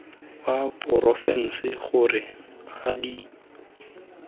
wa porofense gore a di